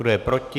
Kdo je proti?